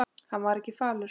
Hann var ekki falur.